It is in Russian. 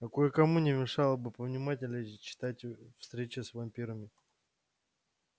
а кое-кому не мешало бы повнимательнее читать встречи с вампирами